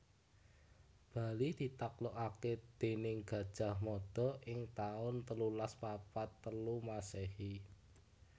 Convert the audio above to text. Bali ditaklukaké déning Gajah Mada ing taun telulas papat telu Masèhi